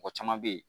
Mɔgɔ caman bɛ ye